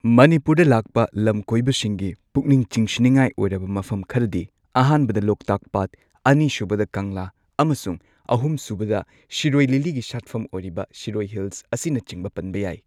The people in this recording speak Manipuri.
ꯃꯅꯤꯄꯨꯔꯗ ꯂꯥꯛꯄ ꯂꯝ ꯀꯣꯏꯕꯁꯤꯡꯒꯤ ꯄꯨꯛꯅꯤꯡ ꯆꯤꯡꯁꯤꯟꯅꯤꯡꯉꯥꯏ ꯑꯣꯏꯔꯕ ꯃꯐꯝ ꯈꯔꯗꯤ ꯑꯍꯥꯟꯕꯗ ꯂꯣꯛꯇꯥꯛ ꯄꯥꯠ ꯑꯅꯤ ꯁꯨꯕꯗ ꯀꯪꯂꯥ ꯑꯃꯁꯨꯡ ꯑꯍꯨꯝ ꯁꯨꯕꯗ ꯁꯤꯔꯣꯏ ꯂꯤꯂꯤꯒꯤ ꯁꯥꯠꯐꯝ ꯑꯣꯏꯔꯤꯕ ꯁꯤꯔꯣꯏ ꯍꯤꯜꯁ ꯑꯁꯤꯅꯆꯤꯡꯕ ꯄꯟꯕ ꯌꯥꯏ꯫